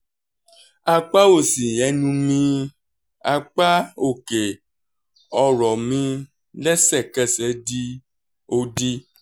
apá òsì ẹnu mi apá òkè ọ̀rọ̀ mi lẹ́sẹ̀kẹsẹ̀ di òdì